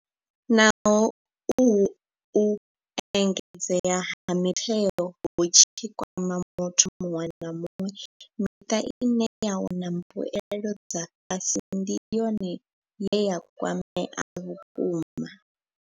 Naho uhu u engedzea ha mitengo hu tshi kwama muthu muṅwe na muṅwe, miṱa ine ya wana mbuelo dza fhasi ndi yone ye ya kwamea vhukuma.